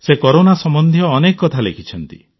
ସେ କରୋନା ସମ୍ବନ୍ଧୀୟ ଅନେକ କଥା ଲେଖିଛନ୍ତି